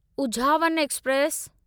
Uzhavan express